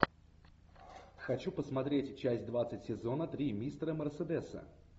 хочу посмотреть часть двадцать сезона три мистера мерседеса